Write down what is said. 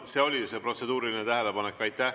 See oli protseduuriline tähelepanek.